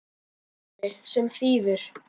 Sindri: Sem þýðir?